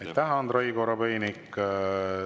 Aitäh, Andrei Korobeinik!